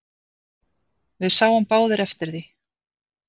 Við sáum báðir eftir því.